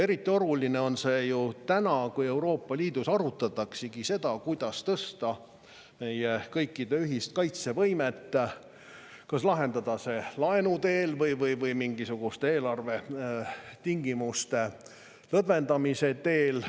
Eriti oluline on see ju täna, kui Euroopa Liidus arutataksegi seda, kuidas tõsta meie kõikide ühist kaitsevõimet, kas lahendada see laenu teel või mingisuguste eelarvetingimuste lõdvendamise teel.